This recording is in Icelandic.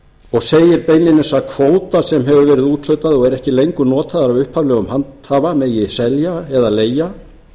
og segir beinlínis að kvóta sem hefur verið úthlutað og er ekki lengur notaður af upphaflegum handhafa megi selja eða leigja